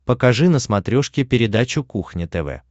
покажи на смотрешке передачу кухня тв